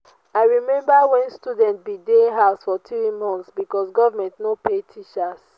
i rememba wen students bin dey house for three months because government no pay teachers